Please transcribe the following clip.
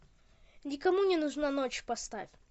никому не нужна ночь поставь